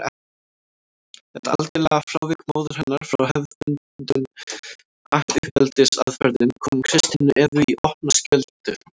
Þetta algjöra frávik móður hennar frá hefðbundnum uppeldisaðferðum kom Kristínu Evu í opna skjöldu.